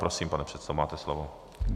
Prosím, pane předsedo, máte slovo.